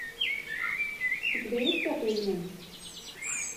у тебя есть пятый элемент